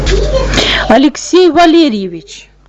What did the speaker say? алексей валерьевич